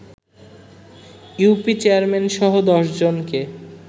UP চেয়ারম্যানসহ ১০ জনকে